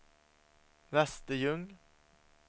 Västerljung